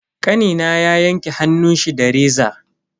Kanina ya yanke hannunshi da reza.